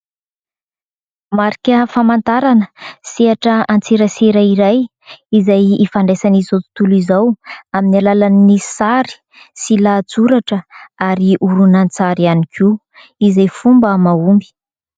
Marika famantarana sehatra an-tserasera iray, izay ifandraisan'izao tontolo izao amin'ny alalan'ny sary sy lahantsoratra ary horonan- tsary ihany koa izay fomba ma homby.